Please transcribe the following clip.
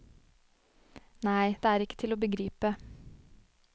Nei, det er ikke til å begripe.